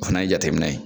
O fana ye jateminɛ ye